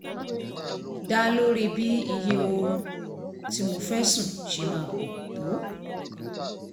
dá lórí bí iye oorun tí mo fẹ́ sùn ṣe máa pọ̀ tó